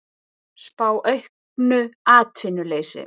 Spá auknu atvinnuleysi